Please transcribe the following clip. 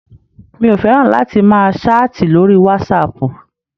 Mi ò fẹ́ràn láti máa ṣáàtì lóri wasaapù.